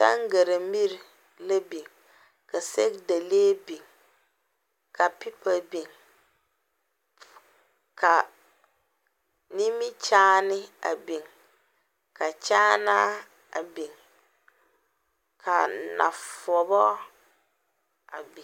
Tangare miri la biŋ, ka sɛge Dale biŋ, ka karataa biŋ, ka nimikyaane a biŋ ka kyaanaa a biŋ ka nɔɔteɛ a biŋ.